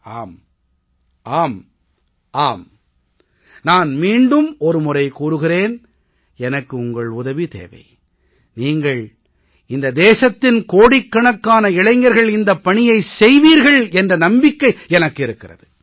ஆம் ஆம் ஆம் நான் மீண்டும் ஒரு முறை கூறுகிறேன் எனக்கு உங்கள் உதவி தேவை நீங்கள் இந்த தேசத்தின் கோடிக்கணக்கான இளைஞர்கள் இந்தப் பணியை செய்வீர்கள் என்ற நம்பிக்கை எனக்கு இருக்கிறது